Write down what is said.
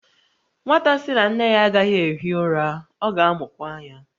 Nwata sị na nne ya agaghị ehi ụra, ọ ga-amụkwa anya